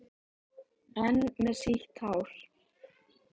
Enn með sítt hár.